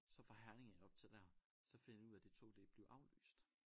Så fra Herning af op til der så finder jeg ud af det tog det er blevet aflyst